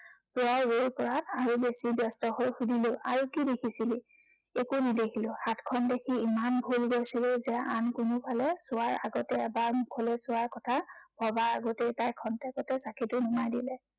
পুৱাৰ ৰদৰ পৰা আহি, বেছি ব্য়স্ত হৈ সুধিলো, আৰু কি দেখিছিলি? একো নেদেখিলো। হাতখন দেখি ইমান ভোল গৈছিলো যে আন কোনোফালে চোৱাৰ আগতেই এবাৰ মুখলৈ চোৱাৰ কথা ভবাৰ আগতেই তাই ক্ষন্তেকতে চাঁকিটো নুমাই দিলে।